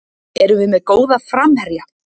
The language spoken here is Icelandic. Erum við með góða framherja?